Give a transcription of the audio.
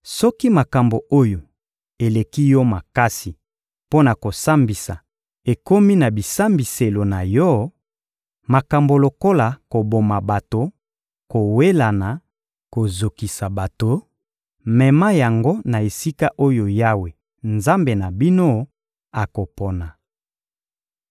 Soki makambo oyo eleki yo makasi mpo na kosambisa ekomi na bisambiselo na yo, makambo lokola koboma bato, kowelana, kozokisa bato, mema yango na esika oyo Yawe, Nzambe na bino, akopona.